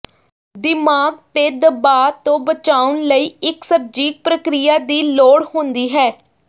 ਦਿਮਾਗ ਤੇ ਦਬਾਅ ਤੋਂ ਬਚਾਉਣ ਲਈ ਇੱਕ ਸਰਜੀਕ ਪ੍ਰਕਿਰਿਆ ਦੀ ਲੋੜ ਹੁੰਦੀ ਹੈ